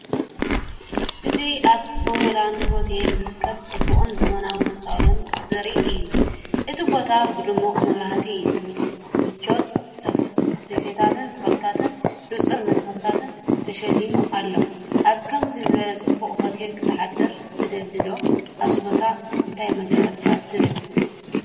እዚ ኣብ “ሆም ላንድ ሆቴል” ዝርከብ ፅቡቅን ዘመናውን ሳሎን ዘርኢ እዩ። እቲ ቦታ ብድሙቕ መብራህቲ፡ ምቹኣት ሶፋታት፡ ተኽልታትን ንጹር መስኮታትን ተሸሊሙ ኣሎ። ኣብ ከምዚ ዝበለ ጽቡቕ ሆቴል ክትሓድሩ ትደልዩ ዶ? ኣብዚ ቦታ እንታይ ምገበርካ ትብል?